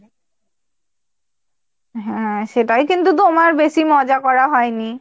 হ্যাঁ সেটাই কিন্তু তোমার বেশি মজা করা হয়নি।